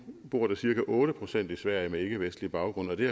bor der cirka otte procent i sverige med ikkevestlig baggrund og det